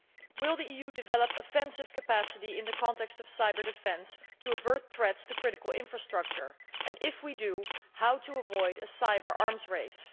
Will the EU develop offensive capacity in the context of cyber defence to avert threats to critical infrastructure and, if we do, how can we avoid a cyber arms race?